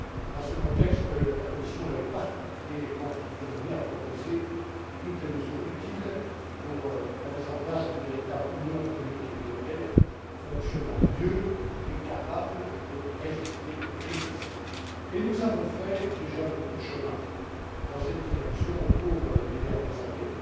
Dans ce contexte, la Commission est particulièrement déterminée à proposer toutes les mesures utiles pour la mise en place d'une véritable union économique et monétaire fonctionnant mieux et capable de résister aux crises. Nous avons déjà fait beaucoup de chemin dans cette direction au cours des dernières années